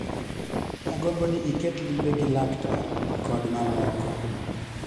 Agombo ni iket limbe gi laktar, kod mamoko